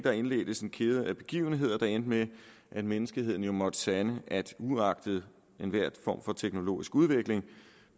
indledtes en kæde af begivenheder der endte med at menneskeheden måtte sande at uagtet enhver form for teknologisk udvikling